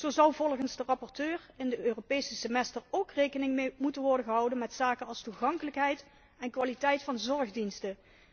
Zo zou volgens de rapporteur in het Europees semester ook rekening moeten worden gehouden met zaken als toegankelijkheid en kwaliteit van zorgdiensten.